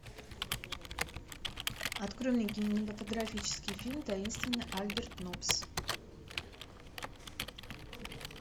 открой мне кинематографический фильм таинственный альберт ноббс